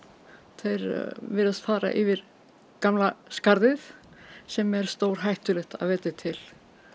þeir virðast fara yfir gamla skarðið sem er stórhættulegt að vetri til